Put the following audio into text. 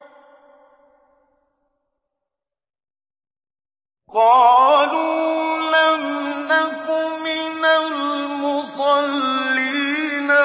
قَالُوا لَمْ نَكُ مِنَ الْمُصَلِّينَ